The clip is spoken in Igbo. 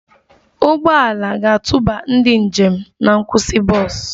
Ụgbọ ala ga-atụba ndị njem na nkwụsị bọs